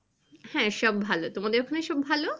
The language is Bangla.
হ্যাঁ সব ভালো। তোমাদের ওখানে সব ভালো?